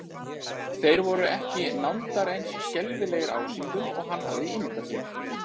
Þeir voru ekki nándar eins skelfilegir ásýndum og hann hafði ímyndað sér.